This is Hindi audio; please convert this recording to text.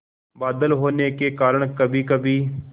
बादल होने के कारण कभीकभी